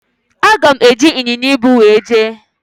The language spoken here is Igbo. Aga m eji ịnyịnya ibu wee jee.